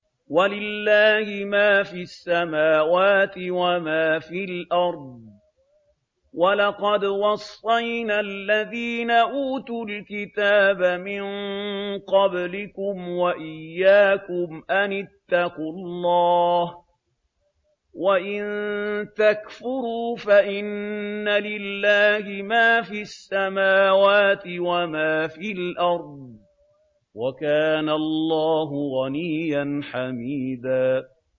وَلِلَّهِ مَا فِي السَّمَاوَاتِ وَمَا فِي الْأَرْضِ ۗ وَلَقَدْ وَصَّيْنَا الَّذِينَ أُوتُوا الْكِتَابَ مِن قَبْلِكُمْ وَإِيَّاكُمْ أَنِ اتَّقُوا اللَّهَ ۚ وَإِن تَكْفُرُوا فَإِنَّ لِلَّهِ مَا فِي السَّمَاوَاتِ وَمَا فِي الْأَرْضِ ۚ وَكَانَ اللَّهُ غَنِيًّا حَمِيدًا